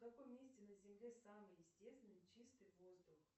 в каком месте на земле самый естественный чистый воздух